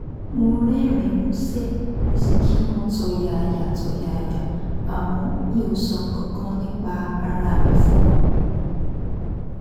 mo rẹ́rìn-ín músẹ́ mo sì kí wọn tọ̀yàyàtọ̀yàyà àmọ́ mi ò sọ nǹkan kan nípa ara mi fún wọn